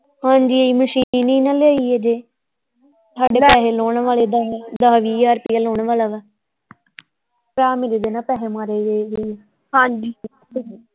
ਹਾਂਜੀ ਮਸ਼ੀਨ ਨਹੀਂ ਨਾਂ ਲਈ ਹਜੇ ਸਾਡੇ ਪੈਸੇ ਲਾਹੁਣ ਵਾਲੇ ਦੱਸ ਦੱਸ ਵੀਹ ਹਜ਼ਾਰ ਰੁਪਈਆ ਲਾਹੁਣ ਵਾਲਾ ਵਾ ਭਰਾ ਮੇਰੇ ਦੇ ਇਹਨਾਂ ਪੈਸੇ ਮਾਰੇ ਹੋਏ ਹਾਂਜੀ।